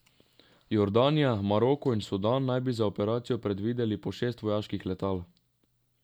Jordanija, Maroko in Sudan naj bi za operacijo predvideli po šest vojaških letal.